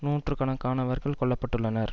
நூற்று கணக்கானவர்கள் கொல்ல பட்டுள்ளனர்